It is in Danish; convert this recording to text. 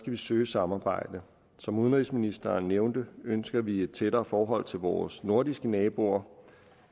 vi søge samarbejde som udenrigsministeren nævnte ønsker vi et tættere forhold til vores nordiske naboer